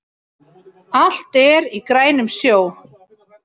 Fór úr olnbogalið en hélt áfram